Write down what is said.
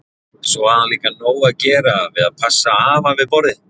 Svo hafði hún líka nóg að gera við að passa afa við borðið.